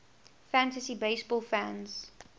fantasy baseball fans